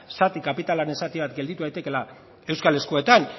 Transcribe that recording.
zati kapitalaren zati bat gelditu daitekeela euskal eskuetan